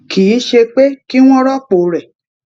kì í ṣe pé kí wón rópò rè